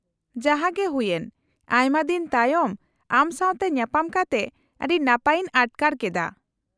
-ᱡᱟᱦᱟᱸ ᱜᱮ ᱦᱩᱭᱮᱱ, ᱟᱭᱢᱟ ᱫᱤᱱ ᱛᱟᱭᱚᱢ ᱟᱢ ᱥᱟᱶᱛᱮ ᱧᱟᱯᱟᱢ ᱠᱟᱛᱮ ᱟᱹᱰᱤ ᱱᱟᱯᱟᱭ ᱤᱧ ᱟᱴᱠᱟᱨ ᱠᱮᱫᱟ ᱾